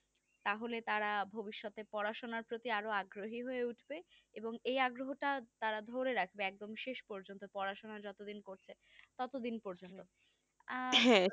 তাহলে তারা ভবিষ্যতের পড়াশোনার প্রতি আরো আগ্রহী হয়ে উঠবে এবং এই আগ্রহটা তারা ধরে রাখবে একদম শেষ পর্যন্ত পড়াশোনা যতদিন করছে ততদিন পর্যন্ত হ্যাঁ